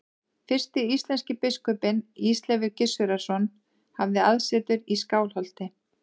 Fyrsti íslenski biskupinn, Ísleifur Gissurarson, hafði aðsetur í Skálholti.